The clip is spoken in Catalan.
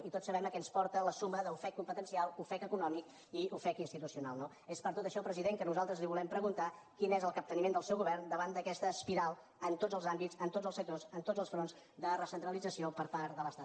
i tots sabem a què ens porta la suma d’ofec competencial ofec econòmic i ofec institucional no és per tot això president que nosaltres li volem preguntar quin és el capteniment del seu govern davant d’aquesta espiral en tots els àmbits en tots els sectors en tots els fronts de recentralització per part de l’estat